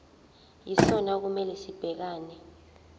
yisona okumele sibhekane